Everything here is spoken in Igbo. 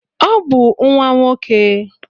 Ọ bụ nwa nwoke